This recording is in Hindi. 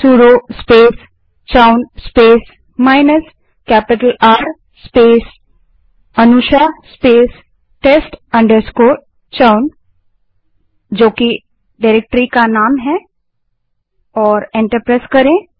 sudo space chown space minus capital R space a n u s h आ अनुशा spacetest chown जो डाइरेक्टरी का नाम है और एंटर दबायें